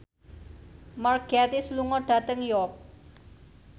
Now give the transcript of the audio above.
Mark Gatiss lunga dhateng York